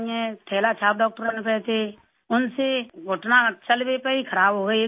جھولا چھاپ ڈاکٹروں نے تو ایسے ان سے گھٹنا چل بھی پائی خراب ہوگئی، 1